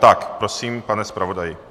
Tak prosím, pane zpravodaji.